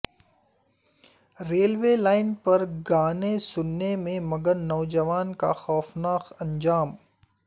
railway line پر گانے سننے میں مگن نوجوان کا خوفناک انجام